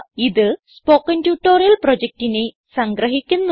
ഇത് spoken tutorial പ്രൊജക്റ്റിനെ സംഗ്രഹിക്കുന്നു